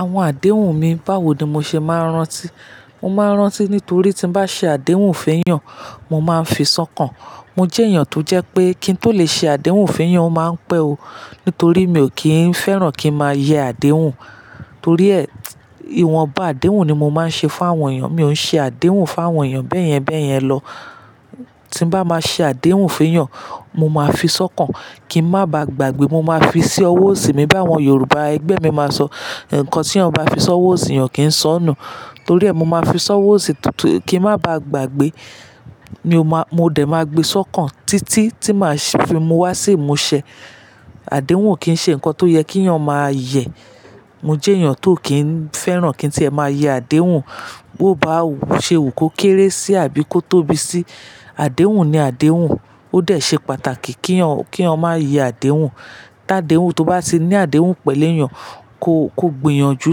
Àwọn àdéhùn mi, báwo ni mo ṣe máa ń rántí? Mo máa ń rántí nítorí tí bá ṣe àdéhùn feyan, mo máa ń fi sọkàn. Mo jẹ́ èèyàn tó jẹ́ pé kí n tó lè ṣe àdéhùn feyan, mo máa ń pè o. Nítorí mi ò kí ń fẹ́ràn kí n máa yẹ àdéhùn. Torí ẹ, ìwọ̀n bá àdéhùn ni mo máa ń ṣe fún àwọn èèyàn. Mi ò ń ṣe àdéhùn fún àwọn èèyàn bẹ́ẹ̀ yẹn bẹ́ẹ̀ yẹn lọ. Tí bá máa ṣe àdéhùn feyan, mo máa fi sọ́kàn kí n máa ba gbàgbé. Mo máa fi sí ọwọ́ òsì mi. Báwo Yorùbá ẹgbẹ́ mi máa sọ, ǹkan tí a bá fi sọ́wọ́ òsì, èèyàn kì í sọ́nù. Torí ẹ, mo máa fi sọ́wọ́ òsì kí n máa ba gbàgbé. Mo dẹ̀ máa gbe sọ́kàn títí tí màá fi mú wá sí ìmúṣẹ. Àdéhùn kì í ṣe ǹkan tó yẹ kí èèyàn máa yẹ. Mo jẹ́ èèyàn tó kì í fẹ́ràn kí n tíì ẹ máa yẹ àdéhùn. Bo bá ṣe wú kokéré sí àbí kó tóbi sí, àdéhùn ni àdéhùn. Ó dẹ̀ ṣe pàtàkì kí eyan má yẹ àdéhùn. Tí àdéhùn to bá ti ní àdéhùn pẹ̀lú èèyàn, ko gbìyànjú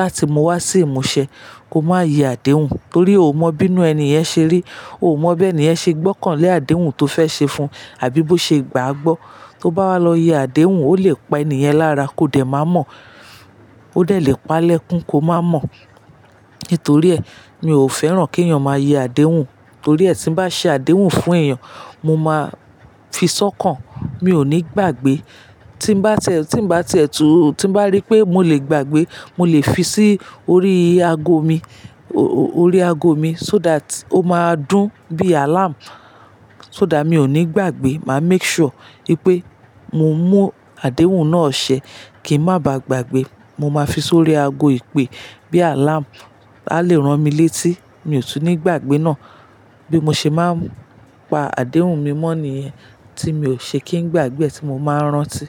láti mú wá sí ìmúṣẹ. Ko máa yẹ àdéhùn torí o ò mọ bí inú ẹni yẹn ṣe rí. O ò mọ bí ẹni yẹn ṣe gbọ́kàn lé àdéhùn to fẹ́ ṣe fun, àbí bó ṣe gbàá gbọ́. Tó bá wá lọ yẹ àdéhùn, o le pa ẹni yẹn lára ko dẹ̀ máa mọ̀. O dẹ̀ lè pa lẹ́kún ko máa mọ̀. Nítorí ẹ, mi ò fẹ́ràn kí èèyàn máa yẹ àdéhùn. Torí ẹ, tí bá ṣe àdéhùn fún èèyàn, mo máa fi sọ́kàn. Mi ò ní gbàgbé. Tí bá ti ẹtu, tí bá rí pé mo lè gbàgbé, mo lè fi sí orí aago mi, so that o máa dún bí alarm. So that mi ò ní gbàgbé. Màá make sure wípé mo mú àdéhùn náà ṣẹ kí n máa ba gbàgbé. Mo máa fi sórí aago ìpè bíi alarm. A lè rán mi létí, mi ò ní gbàgbé náà. Bí mo ṣe máa ń pa àdéhùn mi mọ́ nìyẹn tí mi ò ṣe kí n gbàgbé tí mo máa ń rántí.